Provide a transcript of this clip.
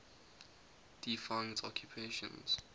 defunct occupations